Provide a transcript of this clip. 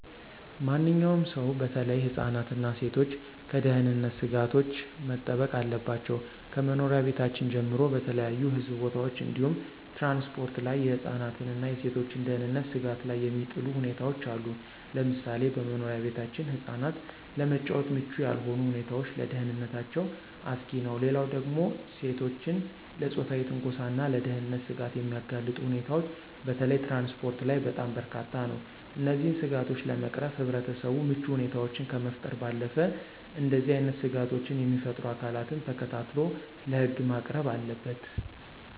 ማንኛውም ሰው በተለይ ህፃናት እና ሴቶች ከደህንነት ስጋቶች መጠበቅ አለባቸው። ከመኖሪያ ቤታችን ጀምሮ በተለያዩ ህዝብ ቦታዎች እንዲሁም ትራንስፖርት ላይ የህፃናትን እና የሴቶችን ደህንነት ስጋት ላይ የሚጥሉ ሁኔታዎች አሉ፤ ለምሳሌ በመኖሪያ ቤታችን ህፃናት ለመጫወት ምቹ ያልሆኑ ሁኔታዎች ለደህንነታቸው አስጊ ነው። ሌላው ደግሞ ሴቶችን ለፆታዊ ትንኮሳና ለደህንነት ስጋት የሚያጋልጡ ሁኔታዎች በተለይ ትራንስፖርት ላይ በጣም በርካታ ነው። እነዚህን ስጋቶች ለመቅረፍ ህብረተሰቡ ምቹ ሁኔታዎችን ከመፍጠር ባለፈ እንደዚህ አይነት ስጋቶችን የሚፈጥሩ አካላትን ተከታትሎ ለህግ ማቅረብ አለበት።